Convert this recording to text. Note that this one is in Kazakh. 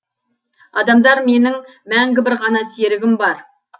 адамдар менің мәңгі бір ғана серігім бар